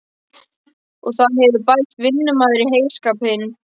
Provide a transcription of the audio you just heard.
Og það hefur bæst vinnumaður í heyskapinn.